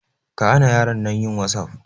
Kahana yaron nan yin wasaf.